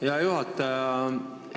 Aitäh, hea juhataja!